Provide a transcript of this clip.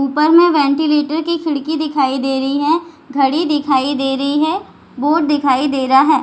ऊपर में वेंटिलेटर की खिड़की दिखाई दे रही है घड़ी दिखाई दे रही है बोर्ड दिखाई दे रहा है।